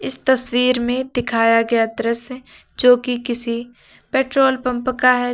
इस तस्वीर में दिखाया गया दृश्य जो कि किसी पेट्रोल पंप का है।